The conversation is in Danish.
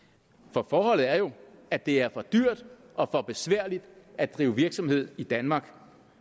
for forholdet er jo at det er for dyrt og for besværligt at drive virksomhed i danmark